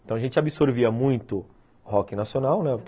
Então a gente absorvia muito rock nacional, né?